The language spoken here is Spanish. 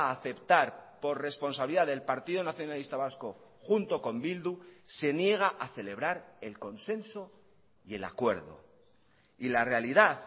a aceptar por responsabilidad del partido nacionalista vasco junto con bildu se niega a celebrar el consenso y el acuerdo y la realidad